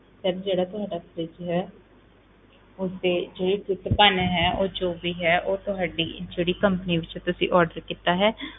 Sir ਜਿਹੜਾ ਤੁਹਾਡਾ fridge ਹੈ ਉਸ ਦੇ ਜੇ ਟੁੱਟ ਭੰਨ ਉਹ ਜੋ ਵੀ ਹੈ ਉਹ ਤੁਹਾਡੀ ਜਿਹੜੀ company ਵਿੱਚ ਤੁਸੀਂ order ਕੀਤਾ ਹੈ,